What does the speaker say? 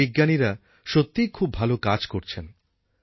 আমাদের বিজ্ঞানীরা সত্যিই খুব ভাল কাজ করছেন